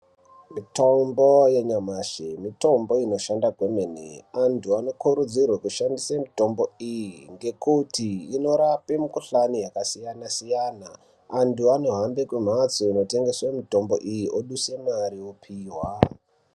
Mitombo yanyamashi, mitombo inoshanda kwemene antu anokurudzirwa kushandisa mitombo iyi ngekuti inorapa mukhuhlani yakasiyana siyana. Antu anohamba kumhatso inotengeswa mitombo iyi oduse mari opihwa.